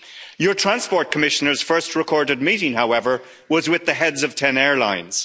Your Transport Commissioner's first recorded meeting, however, was with the heads of ten airlines.